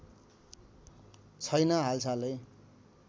छैन हालसालै